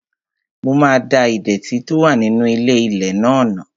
Mo máa da ìdẹ̀tì tó wà nínú ilé-ilẹ̀ náà nù